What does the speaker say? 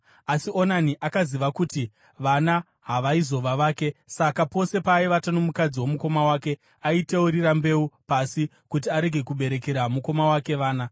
Asi Onani akaziva kuti vana havaizova vake; saka pose paaivata nomukadzi womukoma wake, aiteurira mbeu pasi kuti arege kuberekera mukoma wake vana.